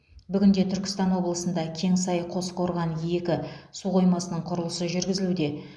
бүгінде түркістан облысында кеңсай қосқорған екі су қоймасының құрылысы жүргізілуде